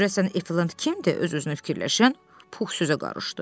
Görəsən Eflant kimdir, öz-özünə fikirləşən Pux sözə qarışdı.